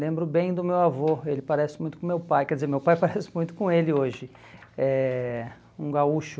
Lembro bem do meu avô, ele parece muito com meu pai, quer dizer, meu pai parece muito com ele hoje, eh um gaúcho.